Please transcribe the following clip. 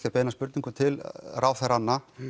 að beina spurningu til ráðherranna